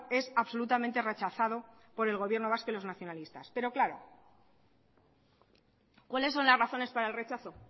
es absolutamente rechazado por el gobierno vasco y los nacionalistas pero claro cuáles son las razones para el rechazo